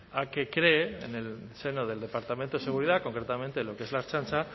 a que cree en el seno del departamento de seguridad concretamente en lo que es la ertzaintza